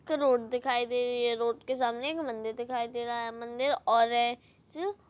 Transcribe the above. एक रोड दिखाई दे रही है रोड के सामने एक मंदिर दिखाई दे रहा है मंदिर औरे-- अंज--